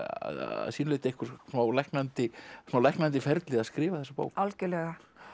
að sínu leyti smá læknandi smá læknandi ferli að skrifa þetta bók algjörlega